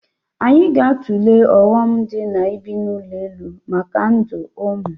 Anyị ga-atụle ọghọm nọ n'ibi n'ụlọ elu maka ndụ ụmụ